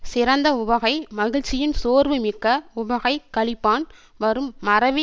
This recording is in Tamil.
சிறந்த உவகை மகிழ்ச்சியின் சோர்வு மிக்க உவகைக் களிப்பான் வரும் மறவி